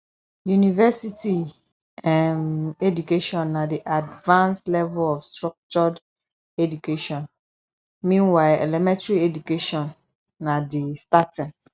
university um education na di advanced level of structured education meanwhile elementary education na di starting